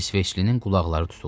İsveçlinin qulaqları tutuldu.